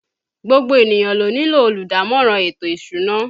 Gbogbo ènìyàn ló nílò olùdámọ̀ràn ètò ìsúná